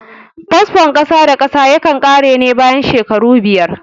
Fasfon kasa da kasa yakan ƙare ne bayan shekaru biyar